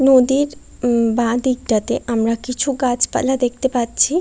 নদীর উম উম বাঁ দিকটাতে আমরা কিছু গাছপালা দেখতে পাচ্ছি।